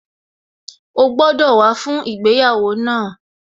O gbọ́dọ̀ wá fún ìgbéyàwó náà